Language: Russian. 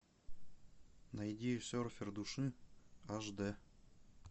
найди серфер души аш дэ